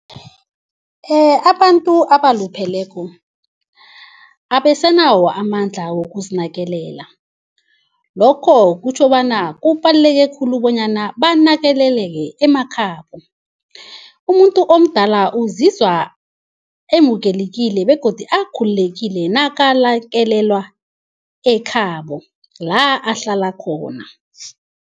Abantu abalupheleko abesanawo amandla wokuzinakelela. Lokho kutjho bona kubaluleke khulu bonyana banakeleleke emakhabo. Umuntu omdala uzizwa emukelekile begodu akhululekile nakalakelelwa ekhabo la ahlala khona.